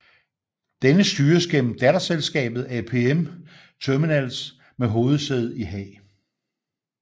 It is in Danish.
Denne styres gennem datterselskabet APM Terminals med hovedsæde i Haag